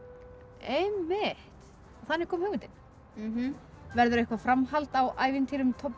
einmitt og þannig kom hugmyndin já verður framhald á ævintýrum Tobba